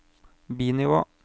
bi-nivå